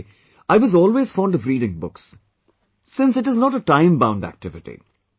By the way, I was always fond of reading books since it is not a time bound activity